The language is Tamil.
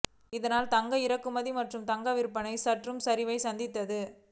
இதனால் தங்க இறக்குமதி மற்றும் தங்க விற்பனை சற்று சரிவை சந்தித்தது